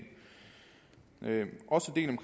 også delen